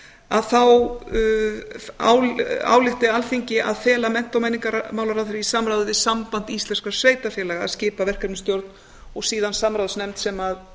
að þá álykti alþingi að fela mennta og menningarmálaráðherra í samráði við samband íslenskra sveitarfélaga að skipa verkefnisstjórn og síðan samráðsnefnd sem